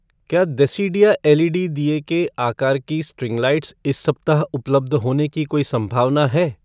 क्या देसिडिया एलईडी दिए के आकार की स्ट्रिंग लाइट्स इस सप्ताह उपलब्ध होने की कोई संभावना है?